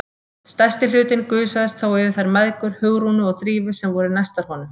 Stærsti hlutinn gusaðist þó yfir þær mæðgur, Hugrúnu og Drífu, sem voru næstar honum.